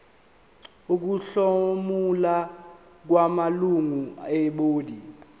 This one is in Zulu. ukuhlomula kwamalungu ebhodi